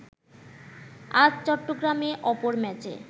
আজ চট্টগ্রামে অপর ম্যাচে